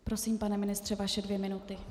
Prosím, pane ministře, vaše dvě minuty.